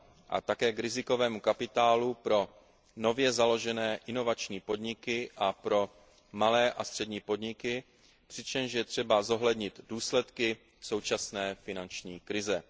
a také k rizikovému kapitálu pro nově založené inovační podniky a pro malé a střední podniky, přičemž je třeba zohlednit důsledky současné finanční krize.